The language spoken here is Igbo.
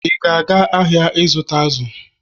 ị ga-aga ahịa ịzụta azụ̀?